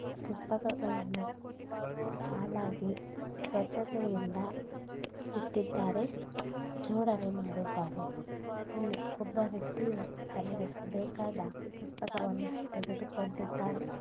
ಪುಸ್ತಕಗಳನ್ನು ಸಾಲಾಗಿ ಸ್ವಚ್ಚತೆಯಿಂದ ಇಟ್ಟಿದ್ದಾರೆ ಜೋಡಣೆ ಮಾಡಿದ್ದಾರೆ. ಇಲ್ಲಿ ಒಬ್ಬ ವ್ಯಕ್ತಿಯು ತನಗೆ ಬೇಕಾದ ಪುಸ್ತಕವನ್ನು ತೆಗೆದುಕೊಂಡಿದ್ದಾನೆ.